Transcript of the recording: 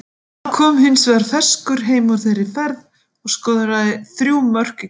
Hann kom hins vegar ferskur heim úr þeirri ferð og skoraði þrjú mörk í kvöld.